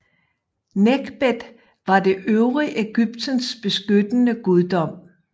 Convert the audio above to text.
Nekhbet var det øvre Egyptens beskyttende guddom